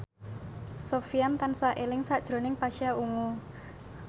Sofyan tansah eling sakjroning Pasha Ungu